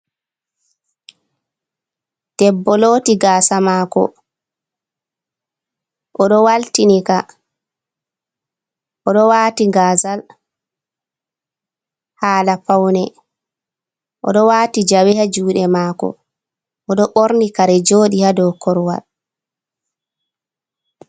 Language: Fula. Debbo looti gaasa maako,o ɗo waltini ka, o ɗo waati gaazal, haala pawne,o ɗo waati jawe haa juuɗe maako, o ɗo ɓorni kare joodi haa dow korwal.